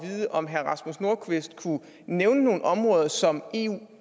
vide om herre rasmus nordqvist kunne nævne nogle områder som eu